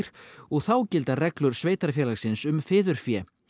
og þá gilda reglur sveitarfélagsins um fiðurfé